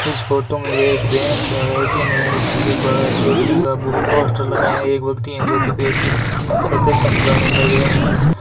इस फोटो में ये एक बैंक है और ए_टी_एम इसके बाहर ए_टी_एम का पोस्टर लगाया है एक व्यक्ति है जो ए_टी_एम से पैसे निकालने अंदर गए हैं।